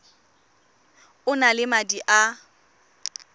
o na le madi a